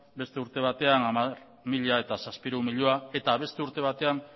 beste urte batean hamar mila zazpiehun milioi eta beste urte batean